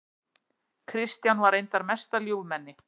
Kristján var reyndar mesta ljúfmenni.